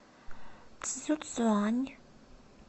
цзюцюань